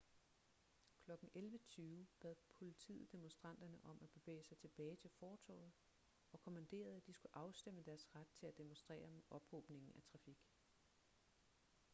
klokken 11:20 bad politiet demonstranterne om at bevæge sig tilbage til fortovet og kommanderede at de skulle afstemme deres ret til at demonstrere med ophobningen af trafik